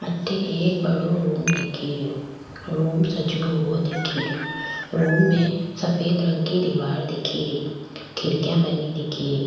अठे एक बड़ो रूम दिखे रियो रूम सजो हुओ दिखे रियो रूम में सफेद रंग की दिवार दिखे री खिड़किया बनी दिखे री।